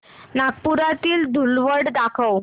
नागपुरातील धूलवड दाखव